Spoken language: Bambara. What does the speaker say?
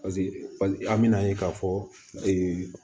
an bɛ n'a ye k'a fɔ